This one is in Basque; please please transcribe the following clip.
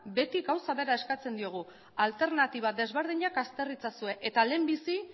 beti gauza bera eskatzen diogu alternatiba desberdinak azter itzazue eta lehenbizi